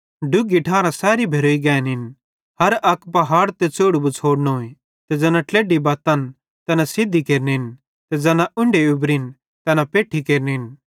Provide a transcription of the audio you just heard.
डुग्घी ठारां सैरी भेरोई गैनिन हर अक पहाड़ ते च़ौढ़ु बछ़ोड़नोए ते ज़ैना ट्लेढी बत्तन तैना सिधी केरनिन ज़ैना उन्ढी उबरिन तैना पैठ्ठी केरनिन